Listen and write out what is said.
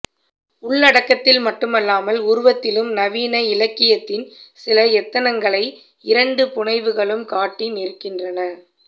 உள்ளடக்கத்தில் மட்டுமல்லாமல் உருவத்திலும் நவீன இலக்கியத்தின் சில எத்தனங்களை இரண்டு புனைவுகளும் காட்டி நிற்கின்றன